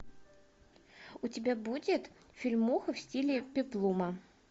у тебя будет фильмуха в стиле пеплума